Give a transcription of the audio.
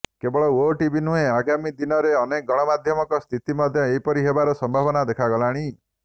କେବଳ ଓଟିଭି ନୁହେଁ ଆଗାମୀ ଦିନରେ ଅନେକ ଗଣମାଧ୍ୟମଙ୍କ ସ୍ଥିତି ମଧ୍ୟ ଏପରି ହେବାର ସମ୍ଭାବନା ଦେଖାଦେଲାଣୀ